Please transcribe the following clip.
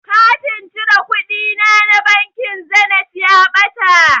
Katin cire kuɗina na bankin zenit ya ɓata.